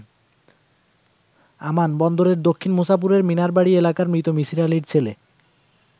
আমান বন্দরের দক্ষিণ মুছাপুরের মিনার বাড়ি এলাকার মৃত মিছির আলীর ছেলে।